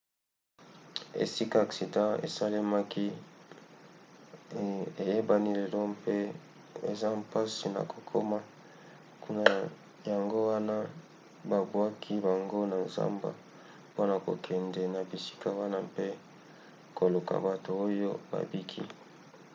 esika aksida esalemaki eyebani lelo mpe eza mpasi na kokoma kuna yango wana babwakaki bango na zamba mpona kokende na bisika wana mpe koluka bato oyo babiki